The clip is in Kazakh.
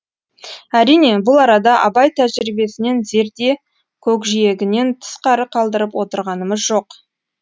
әрине бұл арада абай тәжірибесінен зерде көкжиегінен тысқары қалдырып отырғанымыз жоқ